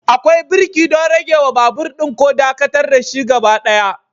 Akwai birki don ragewa babur ɗin ko dakatar da shi gaba ɗaya.